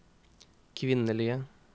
kvinnelige